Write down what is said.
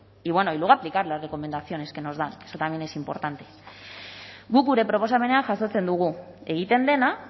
y bueno y luego aplicar las recomendaciones que nos dan eso también es importante guk gure proposamenean jasotzen dugu egiten dena